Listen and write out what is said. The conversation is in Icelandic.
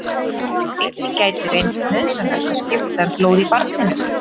Einnig gæti reynst nauðsynlegt að skipta um blóð í barninu.